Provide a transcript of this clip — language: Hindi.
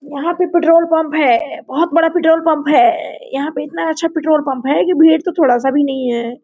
यहाँ पे पेट्रोल पंप है बहुत बड़ा पेट्रोल पंप है यहाँ पे इतना अच्छा पेट्रोल पंप है की भीड़ तो थोड़ा सा नहीं है|